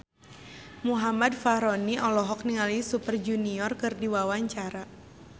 Muhammad Fachroni olohok ningali Super Junior keur diwawancara